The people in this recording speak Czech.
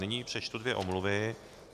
Nyní přečtu dvě omluvy.